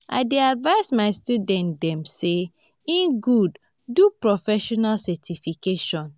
i dey advice my student dem sey e good do professional certification.